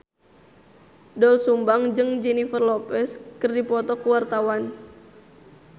Doel Sumbang jeung Jennifer Lopez keur dipoto ku wartawan